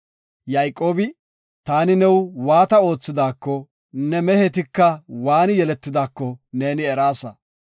Yayqoobi, “Taani new waata oothidaako, ne mehetika waani yeletidaako neeni eraasa.